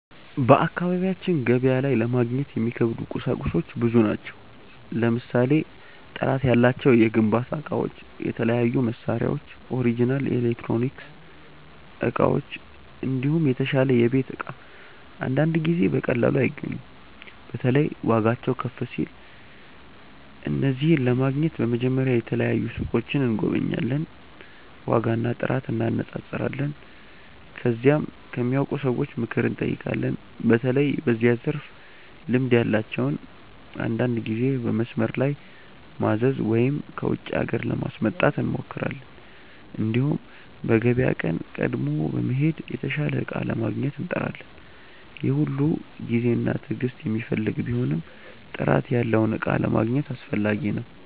በአካባቢያችን ገበያ ላይ ለማግኘት የሚከብዱ ቁሳቁሶች ብዙ ናቸው። ለምሳሌ ጥራት ያላቸው የግንባታ እቃዎች፣ የተለያዩ መሳሪያዎች፣ ኦሪጅናል ኤሌክትሮኒክስ እቃዎች፣ እንዲሁም የተሻለ የቤት እቃ አንዳንድ ጊዜ በቀላሉ አይገኙም። በተለይ ዋጋቸው ከፍ ሲል። እነዚህን ለማግኘት በመጀመሪያ የተለያዩ ሱቆችን እንጎበኛለን፣ ዋጋና ጥራት እንነጻጸራለን። ከዚያም ከሚያውቁ ሰዎች ምክር እንጠይቃለን፣ በተለይ በዚያ ዘርፍ ልምድ ያላቸውን። አንዳንድ ጊዜ በመስመር ላይ ማዘዝ ወይም ከውጪ ሀገር ለማስመጣት እንሞክራለን። እንዲሁም በገበያ ቀን ቀድሞ በመሄድ የተሻለ እቃ ለማግኘት እንጥራለን። ይህ ሁሉ ጊዜና ትዕግስት የሚፈልግ ቢሆንም ጥራት ያለውን እቃ ለማግኘት አስፈላጊ ነው።